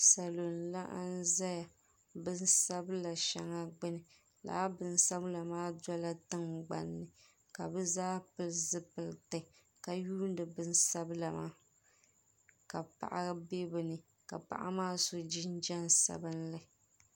Salo n laɣim zaya bin sabila shɛŋa gbuni lala bin sabila maa dɔla tingbani ka bi zaa pili zipiliti ka yuuni bin sabila maa ka paɣa bɛ bi ni ka paɣa maa so jinjam sabinli.